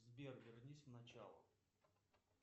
сбер вернись в начало